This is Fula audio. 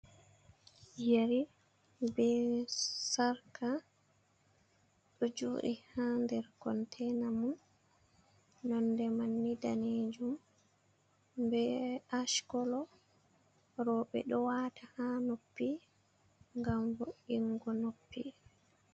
Yeri be sarka ɗo joɗi ha nder conteina mum, nonde man ni danejum be ash kolo, roɓe ɗo wata ha noppi ngam voingo noppi.